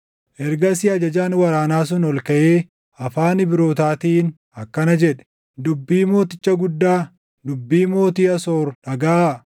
Ergasii ajajaan waraanaa sun ol kaʼee afaan Ibrootaatiin akkana jedhe; “Dubbii mooticha guddaa, dubbii mootii Asoor dhagaʼaa!